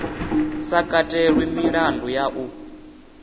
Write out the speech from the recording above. sa katelwi milandu ya u